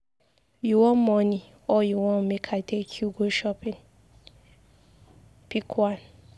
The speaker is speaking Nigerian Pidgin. You wan money or you want make I take you go shopping? Pick one